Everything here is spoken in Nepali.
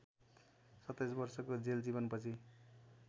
२७ वर्षको जेलजीवन पछि